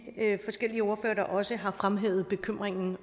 forskellige ordførere der også har fremhævet bekymringen